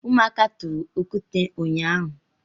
Ụmụaka tụrụ okwute ụnyaahụ.